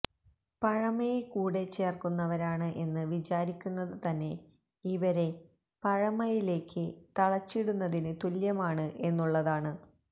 പഴമയെ കൂടെ ചേര്ക്കുന്നവരാണ് എന്ന് വിചാരിക്കുന്നത് തന്നെ ഇവരെ പഴമയിലേക്ക് തളച്ചിടുന്നതിന് തുല്യമാണ് എന്നുള്ളതാണ്